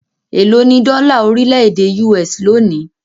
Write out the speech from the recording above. Élo ní dọ́là orílẹ̀-èdè US lónìí?